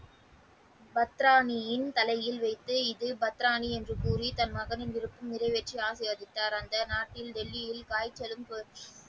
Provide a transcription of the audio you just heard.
பத்ராயின் தலையில் வைத்து இது பத்திராணி என்று கூறி தனது மகனின் விருப்பம் நிறைவேற்றி ஆசீர்வதித்தார் அந்த நாட்டில் வெள்ளியில ,